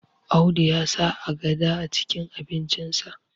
Audu ya sa agada acikin abincinsa